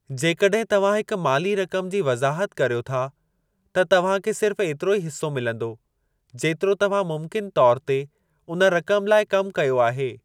जेकॾहिं तव्हां हिकु माली रक़म जी वज़ाहत कर्यो था, त तव्हां खे सिर्फ़ एतिरो ई हिसो मिलंदो जेतिरो तव्हां मुमकिनु तौर ते उन रक़म लाइ कमु कयो आहे।